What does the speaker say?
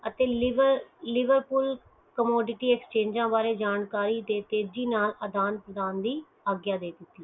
ਅਤੇ ਲੀਗਲ ਪੁਲ ਕੋਡੀਟੀ ਐਸਹੰਗੇ ਦੀ ਤੇਜ਼ੀ ਨਾਲ ਯਾਦਾਂ ਪ੍ਰਦਾਨ ਦੀ ਆਗਯਾ ਦੇ